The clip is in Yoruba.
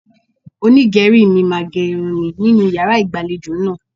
Onígẹ̀rí mi máa ge irun mi nínú yàrá ìgbàlejò náà.